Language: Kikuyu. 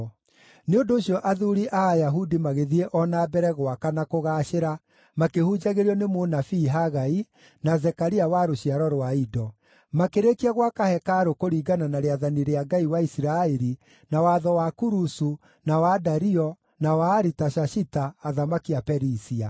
Nĩ ũndũ ũcio athuuri a Ayahudi magĩthiĩ o na mbere gwaka na kũgaacĩra makĩhunjagĩrio nĩ mũnabii Hagai, na Zekaria wa rũciaro rwa Ido. Makĩrĩkia gwaka hekarũ kũringana na rĩathani rĩa Ngai wa Isiraeli na watho wa Kurusu, na wa Dario, na wa Aritashashita, athamaki a Perisia.